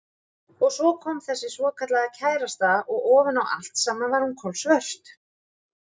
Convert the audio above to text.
Og svo kom þessi svokallaða kærasta og ofan á allt saman var hún kolsvört.